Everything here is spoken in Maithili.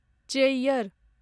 चेय्यर